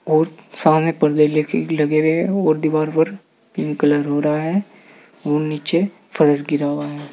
और सामने पर्दे लगे लगे हुए हैं और दीवार पर पिंक कलर हो रहा है और नीचे फर्श गिरा हुआ है।